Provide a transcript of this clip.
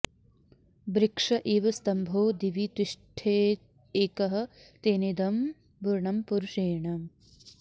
वृक्ष इव स्तम्भो दिवि तिष्ठत्येकः तेनेदं पूर्णं पुरुषेण